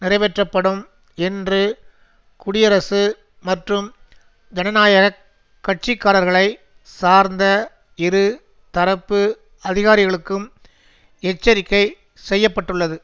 நிறைவேற்றப்படும் என்று குடியரசு மற்றும் ஜனநாயக கட்சிக்காரர்களை சார்ந்த இரு தரப்பு அதிகாரிகளுக்கும் எச்சரிக்கை செய்ய பட்டுள்ளது